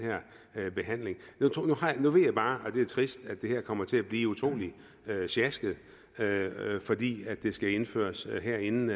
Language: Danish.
her behandling nu ved jeg bare og det er trist at det her kommer til at blive utrolig sjasket fordi det skal gennemføres her inden